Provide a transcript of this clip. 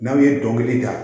N'aw ye dɔnkili da